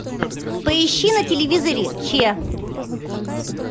поищи на телевизоре че